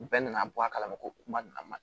Bɛɛ nana bɔ a kalama ko kuma nana